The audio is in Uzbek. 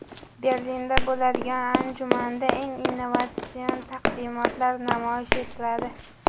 Berlinda bo‘ladigan anjumanda eng innovatsion taqdimotlar namoyish etiladi.